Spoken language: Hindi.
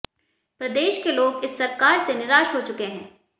प्रदेश के लोग इस सरकार से निराश हो चुके हैं